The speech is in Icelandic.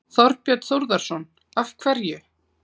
Þorbjörn Þórðarson: Af hverju?